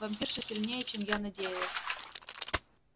вампирша сильнее чем я надеялась